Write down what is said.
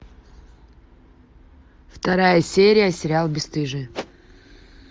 вторая серия сериал бесстыжие